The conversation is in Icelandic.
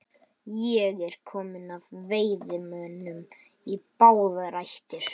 Ég er kominn af veiðimönnum í báðar ættir.